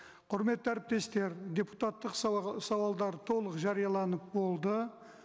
құрметті әріптестер депутаттық сауалдар толық жарияланып болды